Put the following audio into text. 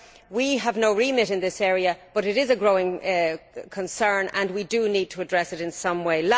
We have no remit in this area, but it is a growing concern and we need to address it in some way.